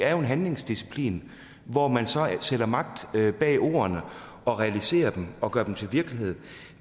er jo en handlingsdisciplin hvor man så sætter magt bag ordene og realiserer dem og gør dem til virkelighed